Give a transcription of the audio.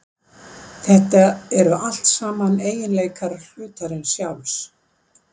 Þetta eru allt saman eiginleikar hlutarins sjálfs.